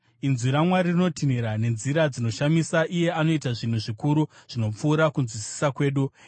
Inzwi raMwari rinotinhira nenzira dzinoshamisa; iye anoita zvinhu zvikuru zvinopfuura kunzwisisa kwedu.